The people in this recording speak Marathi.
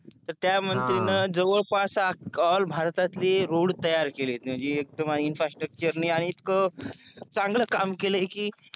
तर त्या मंत्री न जवळपास ऑल भारतातले रोड तयार केलेत म्हणजे इंफ्रास्ट्रक्चर ने आणि इतकं चांगलं काम केलं आहे कि